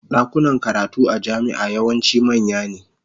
Dakunan karatu a jami'a yawanci manya ne.